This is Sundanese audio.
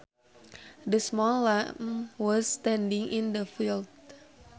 The small lamb was standing in the field